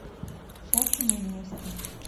счастливы вместе